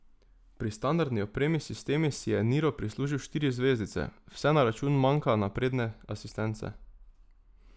Pri standardni opremi sistemi si je niro prislužil štiri zvezdice, vse na račun manka napredne asistence.